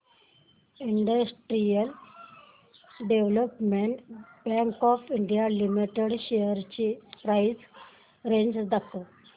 industrial development bank of India limited shares ची price range दाखव